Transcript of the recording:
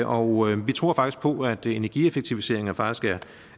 og vi tror på at energieffektiviseringer faktisk